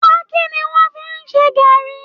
Pákí ni wọ́ fi ń ṣẹ gaàrí